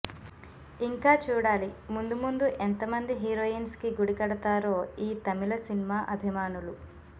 ఇంకా చూడాలి ముందు ముందు ఎంతమంది హీరోయిన్స్ కి గుడి కడతారో ఈ తమిళ సినిమా అభిమానులు